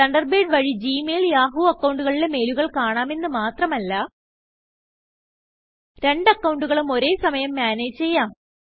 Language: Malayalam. തണ്ടർബേഡ് വഴി ജി മെയിൽയാഹൂ അക്കൌണ്ടു കളിലെ മെയിലുകൾ കാണാമെന്ന് മാത്രമല്ല രണ്ട് അക്കൌണ്ടുകളും ഒരേ സമയം മാനേജ് ചെയ്യാം160